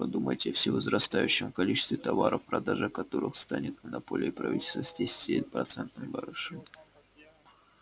подумайте о всевозрастающем количестве товаров продажа которых станет монополией правительства с десяти процентным барышом